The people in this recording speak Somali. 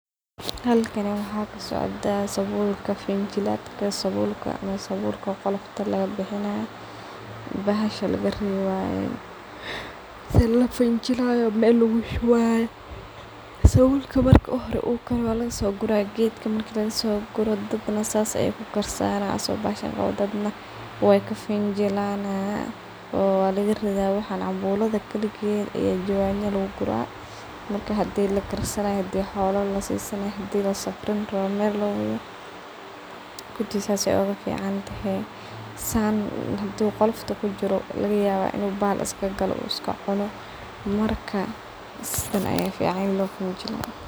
Halkan waxa ka socda sabulka finjilatka ama sabulka qolofta lagabixinayo bahasha lagarewayo hadan la fanjilayo meel lagushubayo sabulka marka u hore ukaaro waa lagasogura geedka marka lagasooguro daad na saas ayay ku karsanayan asago bahasha qawo, daad na way ka finjilayan oo walaga ridha waxan cambuladha kaligeed aya jawani laguguraa marki hada lakarsanayo hadii xoolo lasisanayo hadii lasafrin rawo meel lowadho kulii saas ayey uguficantehe saan hadu qolofto kujiro lagayawa inuu bahal iska galoo oo iska cuuno marka sidhan aya ficaan in loo fanjilo .